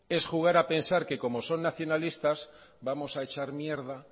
es jugar a pensar que como son nacionalistas vamos a echar mierda